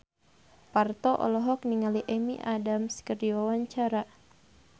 Parto olohok ningali Amy Adams keur diwawancara